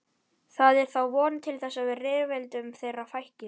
Það er þá von til þess að rifrildum þeirra fækki.